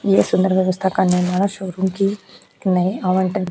इय सुंदर व्यवस्था शोरूम की --